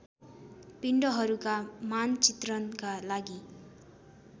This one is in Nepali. पिण्डहरूका मानचित्रणका लागि